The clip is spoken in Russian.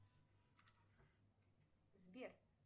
сбер